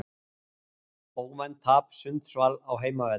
Óvænt tap Sundsvall á heimavelli